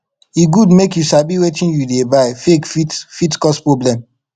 e good make you sabi wetin you dey buy fake fit fit cause problem